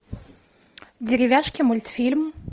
деревяшки мультфильм